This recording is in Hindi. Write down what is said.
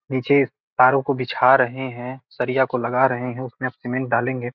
नीचे तारों को बिछा रहे हैं सरिया को लगा रहे हैं उसमें अब सीमेंट डालेंगे |